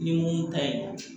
Ni mun ka ɲi